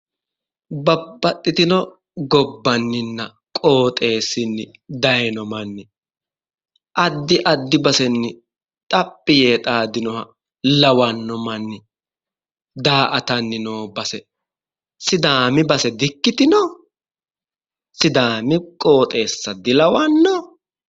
Babbaxitino gobaniina qooxxessin dayiino manni addi addi bassenni xaphi yee xaadino lawanno manni da'attani noo Basse sidaamu Basse di'ikkitino sidaami qooxeesa di'ikkitino?